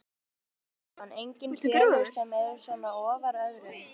Sindri Sindrason: Engin félög sem eru svona ofar öðrum?